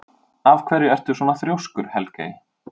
Af hverju ertu svona þrjóskur, Helgey?